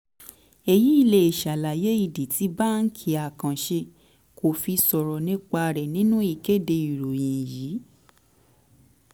èyí lè ṣàlàyé ìdí tí báńkì àkànṣe kò fi sọ̀rọ̀ nípa rẹ̀ nínú ìkéde ìròyìn yìí.